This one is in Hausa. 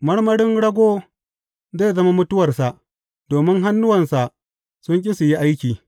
Marmarin rago zai zama mutuwarsa, domin hannuwansa sun ƙi su yi aiki.